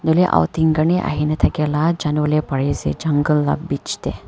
jatte outing kane ahe le thaki na jungle laga bich te.